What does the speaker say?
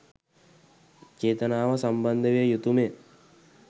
චේතනාව සම්බන්ධ විය යුතුමය.